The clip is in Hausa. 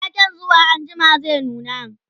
waken zuwa anjima zai nuna